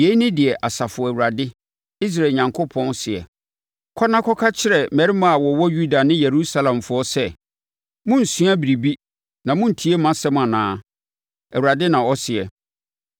“Yei ne deɛ Asafo Awurade, Israel Onyankopɔn, seɛ: Kɔ na kɔka kyerɛ mmarima a wɔwɔ Yuda ne Yerusalemfoɔ sɛ, ‘Morensua biribi na morentie mʼasɛm anaa?’ Awurade na ɔseɛ.